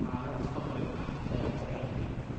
Xaalad faqri ah ayaa ku xeeran